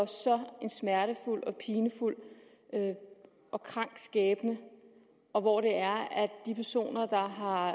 så smertefuld og pinefuld og krank skæbne og hvor det er at de personer der har